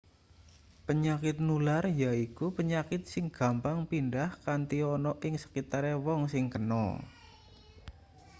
penyakit nular yaiku penyakit sing gampang pindhah kanthi ana ing sekitare wong sing kena